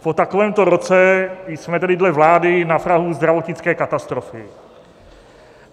Po takovémto roce jsme tedy dle vlády na prahu zdravotnické katastrofy.